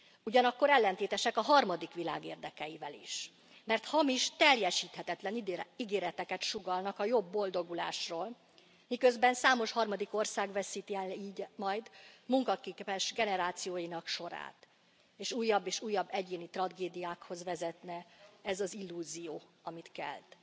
Ugyanakkor ellentétesek a harmadik világ érdekeivel is, mert hamis, teljesíthetetlen ígéreteket sugallnak a jobb boldogulásról, miközben számos harmadik ország veszíti el így majd munkaképes generációinak sorát és újabb és újabb egyéni tragédiákhoz vezetne ez az illúzió, amit kelt.